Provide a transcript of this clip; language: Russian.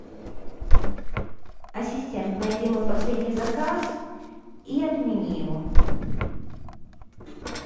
ассистент найди мой последний заказ и отмени его